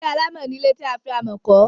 ilé alámọ̀ ni ilé tí a fi amọ̀ kọ́.